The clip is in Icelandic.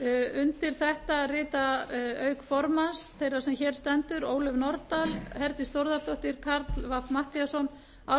undir þetta rita auk formanns þeirrar sem hér stendur ólöf nordal herdís þórðardóttir karl fimmti matthíasson ármann krónu